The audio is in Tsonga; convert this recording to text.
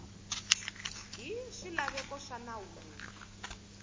hi swilaveko swa nawu lowu